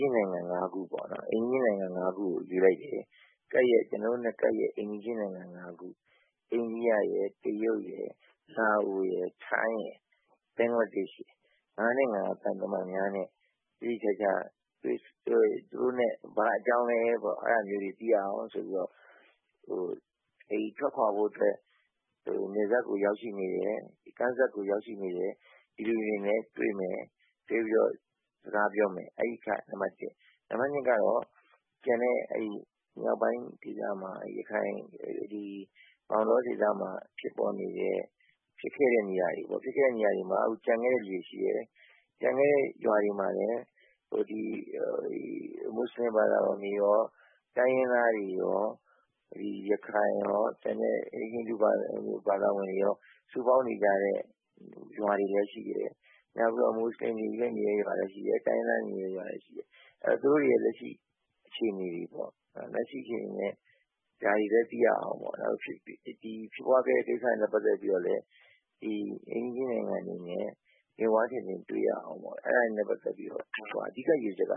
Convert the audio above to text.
ျင်းနိုင်ငံ ၅ ခု ကိုရွေးလိုက်တယ်။ ကျနော်တို့နဲ့ ကပ်လျှက်အိမ်နည်းချင်းနိုင်ငံ ၅ခု အိန္ဒိယနိုင်ငံရယ်၊ တရုတ်ရယ်၊ လာအိုရယ်၊ ထိုင်းရယ်၊ ဘင်္ဂလားဒေ့ရှ်ရယ်၊ ၅ နိုင်ငံ သံတမန်များနဲ့ သေသေချာချာ သူတို့နဲ့ ဘာအကြောင်းလည်းဆိုတာ သိရအောင် သူတို့နဲ့ ထွက်ခွာဖို့အတွက် နယ်စပ်ကိုရောက်ရှိနေတဲ့ ကမ်းစပ်ကိုရောက်ရှိနေတဲ့ လူတွေနဲ့ တွေ့မယ်၊ တွေ့ပြီးတော့ စကားပြောမယ် အဲဒီအချက်က နံပတ် ၊ နံပတ် ကတော့ ကျန်တဲ့ မြောက်ပိုင်း ကိစ္စမှာ ရခိုင်ပြည် မောင်းတောဒေသမှာ ဖြစ်ပွားနေတဲ့ ဖြစ်ခဲ့တဲ့ နေရာတွေ၊ ဖြစ်ခဲ့တဲ့ နေရာတွေမှာ ကျန်ခဲ့တဲ့ လူတွေရှိတယ်၊ ကျန်ခဲ့တဲ့ရွာတွေမှာလည်း မွတ်ဆလင်ဘာသာဝင်တွေရော၊ တိုင်းရင်းသားတွေရော၊ ရခိုင်ရော၊ ကျန်တဲ့ ဟိန္ဒူ ဘာသာဝင်တွေရော၊ စုပေါင်းနေကြတဲ့ ရွာတွေလည်းရှိတယ်၊ နောက်ပြီးတော့ မွတ်ဆလင်တွေနေတဲ့ရွာလည်းရှိတယ်၊ တိုင်းရင်းသားတွေ နေတဲ့နေရာတွေ လည်းရှိတယ်။ သူတို့တွေရဲ့လက်ရှိ အခြေနေတွေနဲ့ ဒါတွေလည်းသိရအောင် ဖြစ်ပွားခဲ့တဲ့ ကိစ္စ တွေနဲ့ ပတ်သက်ပြီးတော့လည်း အိမ်နည်းချင်းနိုင်ငံတွေအနေနဲ့ မျက်ဝါးထင်ထင် တွေ့ရအောင် အဲဒါတွေနဲ့ ပတ်သက်ပြီးတော့ အဓိက ရည်ရွယ်ချက်က